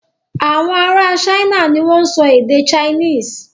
Awọn ará China ni wọ́n ń sọ èdè Chinese.